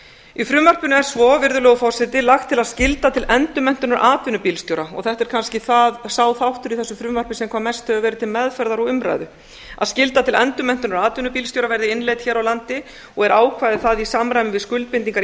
í frumvarpinu er svo virðulegur forseti lagt til að skylda til endurmenntunar atvinnubílstjóra þetta er kannski sá þáttur í þessu frumvarpi sem hvað mest hefur verið til meðferðar og umræðu að skylda til endurmenntunar atvinnubílstjóra verði innleidd hér á landi og er ákvæði það í samræmi við skuldbindingar